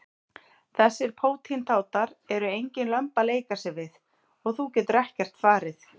Þessir pótintátar eru engin lömb að leika sér við og þú getur ekkert farið.